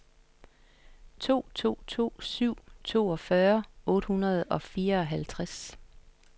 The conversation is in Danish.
to to to syv toogfyrre otte hundrede og fireoghalvtreds